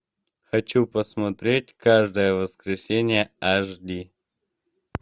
хочу посмотреть каждое воскресенье аш ди